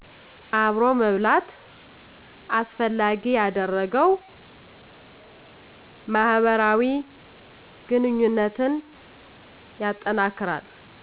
አብሮ መብላት አስፈላጊ ያደረገው ማህበራዊ ግንኙነትን ያጠናክራል